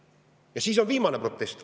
Ja siis see viimane protest.